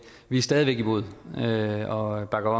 vi er stadig væk imod og bakker